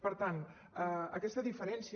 per tant aquesta diferència